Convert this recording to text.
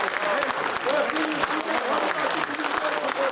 Sizə təşəkkür edirəm hamınızın adına.